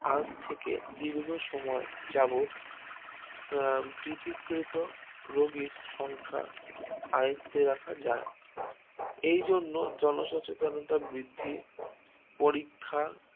আজ থেকে দীর্ঘ সময় যাবত কৃতীকিত রোগীর সংখ্যা আয়ত্ত্বে রাখা যায় এইজন্য জনসচেতনতা বৃদ্ধির পরীক্ষা